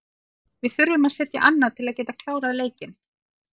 Við þurfum að setja annað til að geta klárað leikinn.